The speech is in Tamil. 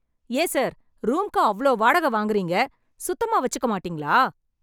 ஏன் சார் ரூம்க்கு அவ்ளோ வாடக வாங்கறீங்க... சுத்தமா வச்சுக்க மாட்டீங்களா ?